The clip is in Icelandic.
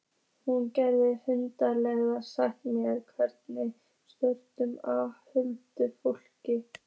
Hún gæti hugsanlega sagt mér einhverjar sögur af huldufólki.